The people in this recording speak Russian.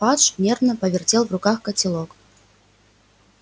фадж нервно повертел в руках котелок